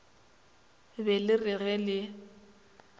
be le re ge le